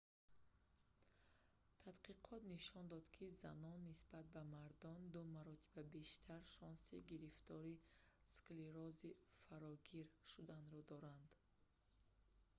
тадқиқот нишон дод ки занон нисбат ба мардон ду маротиба бештар шонси гирифтори сф склерози фарогир шуданро доранд